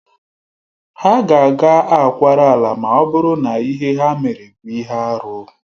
Ha ga-aga akwara ala ma ọ bụrụ na ihe ha mere bụ ihe arụ